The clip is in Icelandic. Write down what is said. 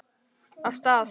Af stað!